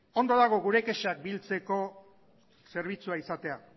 ondo dago gure kexak biltzeko zerbitzua izatea